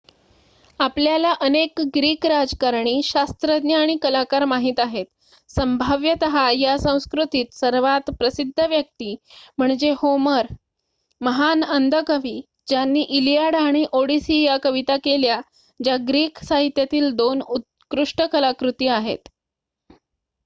आपल्याला अनेक ग्रीक राजकारणी शास्त्रज्ञ आणि कलाकार माहित आहेत संभाव्यत या संस्कृतीत सर्वात प्रसिद्ध व्यक्ती म्हणजे होमर महान अंध कवी ज्यांनी इलियाड आणि ओडिसी या कविता केल्या ज्या ग्रीक साहित्यातील 2 उत्कृष्ट कलाकृती आहेत